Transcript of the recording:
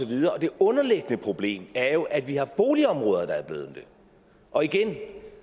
det underliggende problem er jo at vi har boligområder der er blevet det og igen